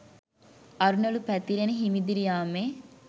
අරුණළු පැතිරෙන හිමිදිරි යාමේ